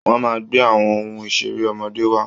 Wọ́n máa gbé àwọn ohun ìṣeré ọmọdé wá